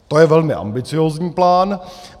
- To je velmi ambiciózní plán.